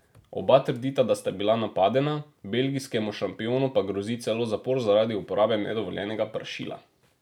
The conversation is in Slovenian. Oba trdita, da sta bila napadena, belgijskemu šampionu pa grozi celo zapor zaradi uporabe nedovoljenega pršila.